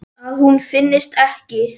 Að hún finnist ekki.